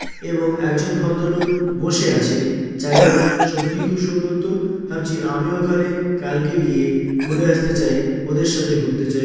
এবং একজন ভদ্রলোক বসে আছে জায়গাটা সত্যি খুব সুন্দর তো ভাবছি আমি ওখানে কালকে গিয়ে ঘুরে আসতে চাই ।ওদের সাথে ঘুরতে চায়।